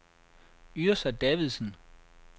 Yrsa Davidsen